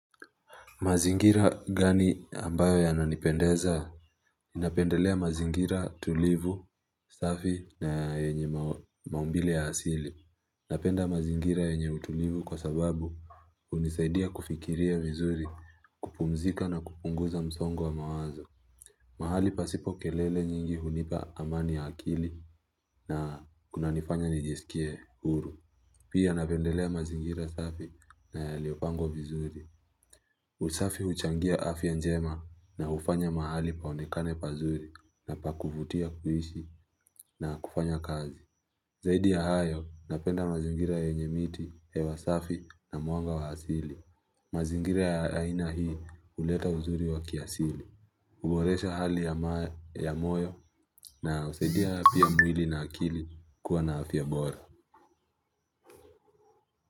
Mazingira gani ambayo ya nanipendeza napendelea mazingira tulivu safi na yenye maumbile ya asili Napenda mazingira yenye utulivu kwa sababu hunisaidia kufikiria vizuri kupumzika na kupunguza msongo wa mawazo mahali pasipo kelele nyingi hunipa amani ya akili na kuna nifanya nijisikie huru Pia napendelea mazingira safi na yaliopangwa vizuri usafi huchangia afya njema na hufanya mahali paonekane pazuri na pa kuvutia kuishi na kufanya kazi. Zaidi ya hayo, napenda mazingira yenye miti, hewa safi na mwanga wa asili. Mazingira ya ina hii, uleta uzuri wa kiasili. Huboresha hali ya ma moyo na husaidia pia mwili na akili kuwa na afya bora.